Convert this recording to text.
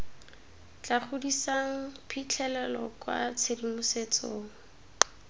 tla godisang phitlhelelo kwa tshedimosetsong